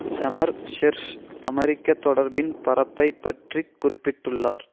செமர் Hersh அமெரிக்க தொடர்பின் பரப்பை பற்றி குறிப்பிட்டுள்ளார்